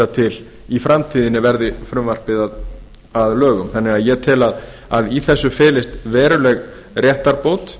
til í framtíðinni verði frumvarpið að lögum ég tel að í þessu felist veruleg réttarbót